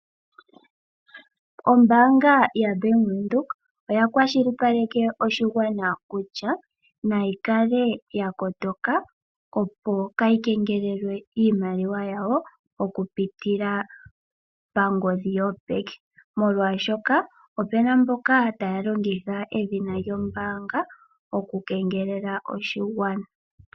Ombaanga yaBank Windhoek oya kwashilipaleke oshigwana kutya; nashi kale sha kotoka opo kaya kengelelwe iimaliwa yawo okupitila pangodhi yopeke , molwaashoka opena mboka taya longitha edhina lyombaanga okukengelela oshigwana.